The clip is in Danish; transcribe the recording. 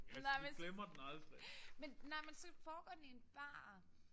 Nej men så men nej men så foregår den i en bar